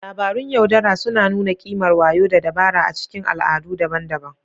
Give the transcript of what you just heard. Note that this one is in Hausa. Labarun yaudara suna nuna ƙimar wayo da dabara a cikin al'adu daban-daban.